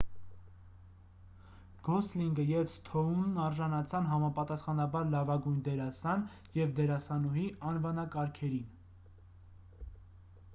գոսլինգը և սթոունն արժանացան համապաստախանաբար լավագույն դերասան և դերասանուհի անվանկարգերին